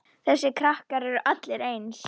Þessir krakkar eru allir eins.